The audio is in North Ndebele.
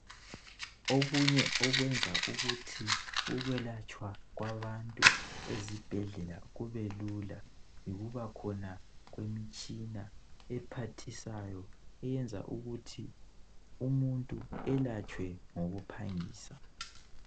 Okunye okwenza ukuthi ukwelatshwa kwabantu ezibhedlela kube lula yikubakhona kwemtshina ephathisayo eyenza ukuthi umuntu elatshwe ngokuphangisa.